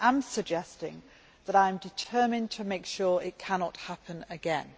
I am suggesting that I am determined to make sure it cannot happen again.